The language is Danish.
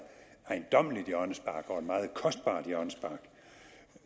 ejendommeligt hjørnespark og et meget kostbart hjørnespark